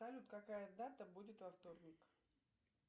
салют какая дата будет во вторник